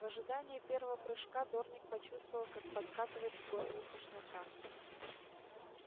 в ожидании первого прыжка дорник почувствовал как подкатывает к горлу тошнота